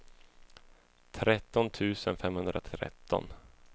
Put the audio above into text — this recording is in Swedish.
tretton tusen femhundratretton